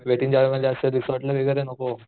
weight n Joy मध्ये असं resort ला वैगेरे नको